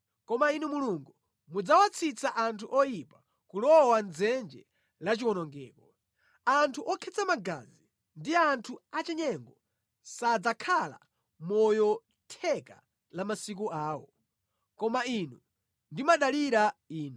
Koma Inu Mulungu mudzawatsitsa anthu oyipa kulowa mʼdzenje lachiwonongeko; anthu okhetsa magazi ndi anthu achinyengo sadzakhala moyo theka la masiku awo, koma ine ndimadalira Inu.